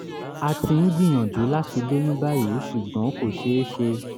a ti ń gbìyànjú láti lóyún báyìí ṣùgbọ́n kò ṣe é ṣe